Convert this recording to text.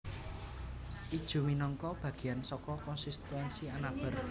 Ijuw minangka bagéan saka konstituensi Anabar